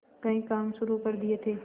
कई काम शुरू कर दिए थे